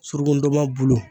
Suruku ndɔnmɔn bulu